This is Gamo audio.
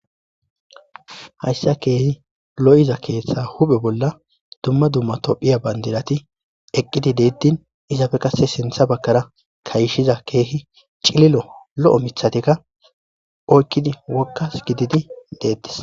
Hayssa keehi lo7iza keeththa huphe bolla dumma dumma topphiya bandilati eqqidi deettin izafe qase sintha bakkara kayishiza keehi cililo lo7o mithatikka oykkidi wokkas gididi deettis.